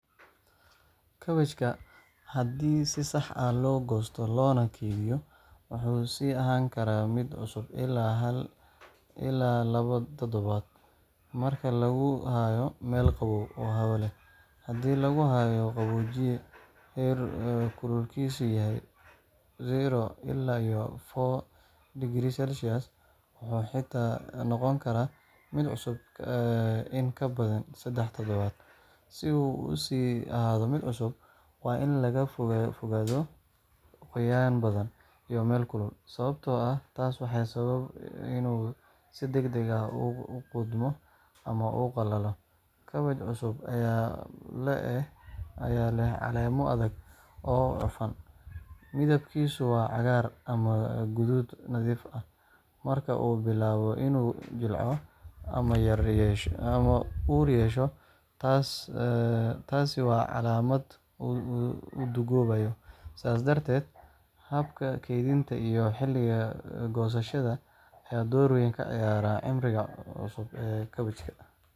Kaabajka, haddii si sax ah loo goosto loona kaydiyo, wuxuu sii ahaan karaa mid cusub ilaa hal ilaa laba toddobaad marka lagu hayo meel qabow oo hawo leh. Haddii lagu kaydiyo qaboojiye heerkulkiisu yahay 0–4°C, wuxuu xitaa noqon karaa mid cusub in ka badan saddex toddobaad. Si uu u sii ahaado mid cusub, waa in laga fogaadaa qoyaan badan iyo meel kulul, sababtoo ah taas waxay sababtaa inuu si degdeg ah u qudhmo ama u qallalo. Kaabaj cusub ayaa leh caleemo adag oo cufan, midabkiisuna waa cagaar ama guduud nadiif ah—marka uu bilaabo inuu jilco ama ur yeesho, taasi waa calaamad uu duugoobayo. Sidaas darteed, habka kaydinta iyo xilliga goosashada ayaa door weyn ka ciyaara cimriga cusub ee kaabajka.